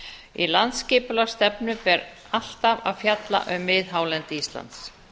í landsskipulagsstefnu ber alltaf að fjalla um miðhálendi íslands